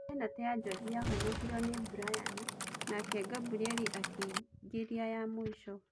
Benatĩ ya Jonji yahonokirio nĩ Mburayani nake Ngamburieri akĩingĩria ya mũico.